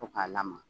To k'a lamaga